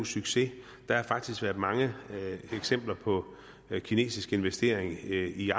succes der har faktisk været mange eksempler på kinesiske investeringer i